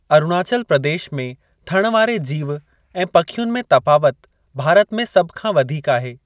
अरुणाचल प्रदेश में थण वारे जीव ऐं पखियुनि में तफ़ावत भारत में सभ खां वधीक आहे।